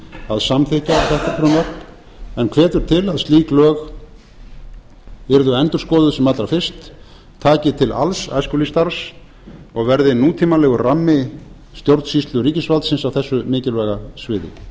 að samþykkja þetta frumvarp en hvetur til að slík lög yrðu endurskoðuð sem allra fyrst taki til alls æskulýðsstarfs og verði nútímalegur rammi stjórnsýslu ríkisvaldsins á þessu mikilvæga sviði